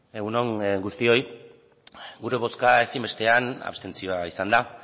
egun on guztioi gure bozka ezinbestean abstentzioa izan da